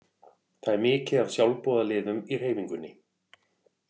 Það er mikið af sjálfboðaliðum í hreyfingunni.